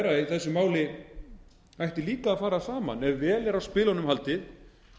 þessu máli ætti líka að fara saman ef vel er á spilunum haldið